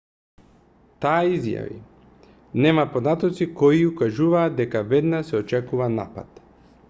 таа изјави нема податоци кои укажуваат дека веднаш се очекува напад